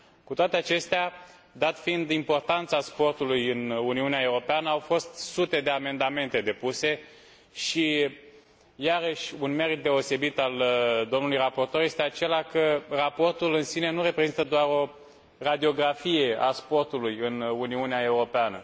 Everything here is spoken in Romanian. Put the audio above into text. Cu toate acestea, dat fiind importanța sportului în Uniunea Europeană, au fost sute de amendamente depuse, și iarăși un merit deosebit al domnului raportor este acela că raportul în sine nu reprezintă doar o radiografie a sportului în Uniunea Europeană.